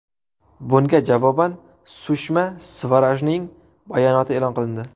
Bunga javoban Sushma Svarajning bayonoti e’lon qilindi.